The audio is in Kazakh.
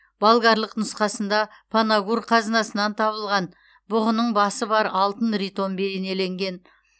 болгарлық нұсқасында панагур қазынасынан табылған бұғының басы бар алтын ритон бейнеленген